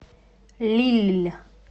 лилль